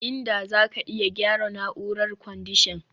Inda zaka iya gyara na'urar kwandishan